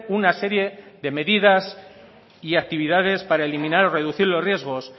una serie de medidas y actividades para eliminar o reducir los riesgos